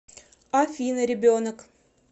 афина ребенок